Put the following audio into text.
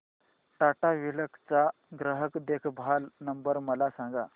Tata Cliq चा ग्राहक देखभाल नंबर मला सांगा